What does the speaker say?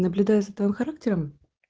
наблюдая за твоим характером